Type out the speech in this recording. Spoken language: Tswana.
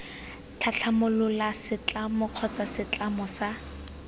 tlhatlhamolola setlamo kgotsa setlamo sa